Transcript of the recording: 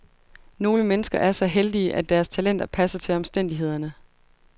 Nogle mennesker er så heldige, at deres talenter passer til omstændighederne.